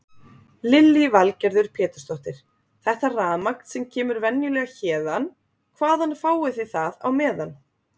Lillý Valgerður Pétursdóttir: Þetta rafmagn sem kemur venjulega héðan, hvaðan fáið þið það á meðan?